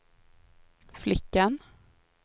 flickan